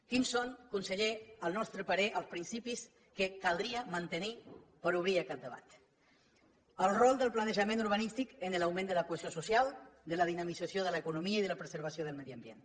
quins són conseller al nostre parer els principis que caldria mantenir per obrir aquest debat el rol del planejament urbanístic en l’augment de la cohesió social de la dinamització de l’economia i de la preservació del medi ambient